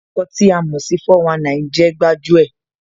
Ǹkan tí a mò sí 419 jẹ́ gbájú ẹ̀